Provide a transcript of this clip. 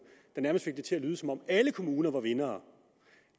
der nærmest fik det til at lyde som om alle kommuner er vindere